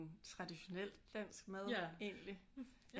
Traditionel dansk mad egentlig